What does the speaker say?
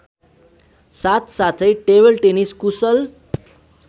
साथसाथै टेबलटेनिस कुशल